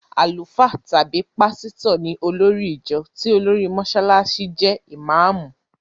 Àlùfáà tàbí pásítọ̀ ní olórì ìjọ tí olórí Mọsálásí jẹ́ ìmáàmù.